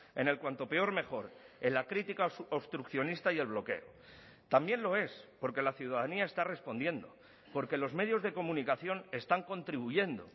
en el cuanto peor mejor en la crítica obstruccionista y el bloqueo también lo es porque la ciudadanía está respondiendo porque los medios de comunicación están contribuyendo